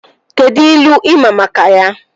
Kedụ ilu ị maa maka ya?